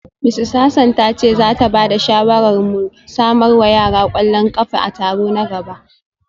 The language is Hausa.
Mrs Hassan ta ce za ta ba da shawarar mu samar wa yara kwallon kafa a taro na gaba